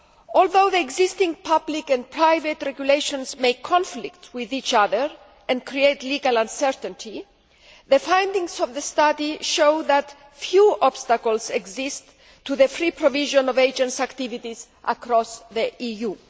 Although the existing public and private regulations may conflict with each other and create legal uncertainty, the findings of the study show that few obstacles exist to the free provision of agents' activities across the